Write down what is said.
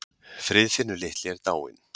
Friðfinnur litli er dáinn.